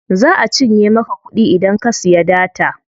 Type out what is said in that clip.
Za a cinye maka kuɗi idan ka siya data.